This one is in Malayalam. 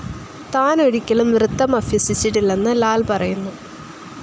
താൻ ഒരിക്കലും നൃത്തം അഭ്യസിച്ചിട്ടില്ലെന്നു ലാൽ പറയുന്നു.